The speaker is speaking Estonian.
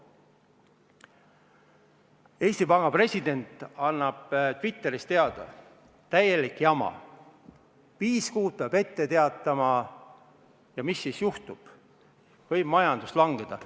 Eesti Panga president annab Twitteris teada: täielik jama, viis kuud peab ette teatama ja siis juhtub, et majandus võib langeda.